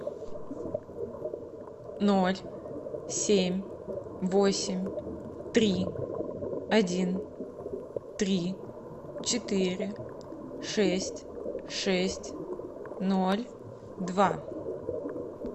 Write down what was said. ноль семь восемь три один три четыре шесть шесть ноль два